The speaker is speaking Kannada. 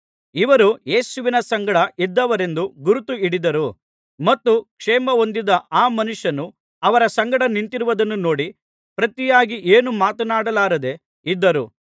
ಇವರು ಯೇಸುವಿನ ಸಂಗಡ ಇದ್ದವರೆಂದು ಗುರುತು ಹಿಡಿದರು ಮತ್ತು ಕ್ಷೇಮ ಹೊಂದಿದ ಆ ಮನುಷ್ಯನು ಅವರ ಸಂಗಡ ನಿಂತಿರುವುದನ್ನು ನೋಡಿ ಪ್ರತಿಯಾಗಿ ಏನೂ ಮಾತನಾಡಲಾರದೆ ಇದ್ದರು